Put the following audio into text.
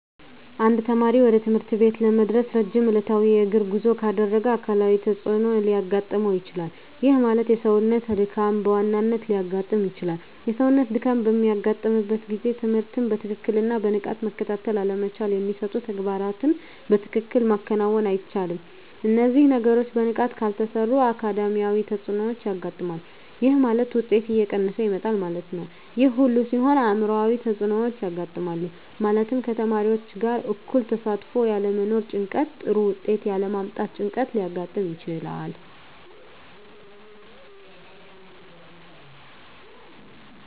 አንድ ተማሪ ወደ ትምህርት ቤት ለመድረስ ረጅም ዕለታዊ የእግር ጉዞ ካደረገ አካላዊ ተፅዕኖ ሊያጋጥመው ይችላል። ይህ ማለት የሰውነት ድካም በዋናነት ሊያጋጥም ይችላል። የሰውነት ድካም በሚያጋጥምበት ጊዜ ትምህርትን በትክክልና በንቃት መከታተል አለመቻል የሚሰጡ ተግባራትን በትክክል ማከናወን አይቻልም። እነዚህ ነገሮች በንቃት ካልተሰሩ አካዳሚያዊ ተፅዕኖዎች ያጋጥማል። ይህ ማለት ውጤት እየቀነሰ ይመጣል ማለት ነው። ይህ ሁሉ ሲሆን አዕምሯዊ ተፅዕኖዎች ያጋጥማሉ። ማለትም ከተማሪዎች ጋር እኩል ተሳትፎ ያለመኖር ጭንቀት ጥሩ ውጤት ያለ ማምጣት ጭንቀት ሊያጋጥም ይችላል።